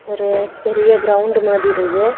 ஒரு பெரிய கிரவுண்டு மாதிரி இருக்கு.